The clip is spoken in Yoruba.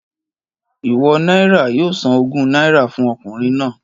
Ìwọ náírà yoo san ogún náírà fun okùnrin nàá